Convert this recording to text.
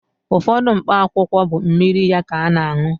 Ụfọdụ mkpa akwụkwọ bụ mmiri ya ka ana-añụ.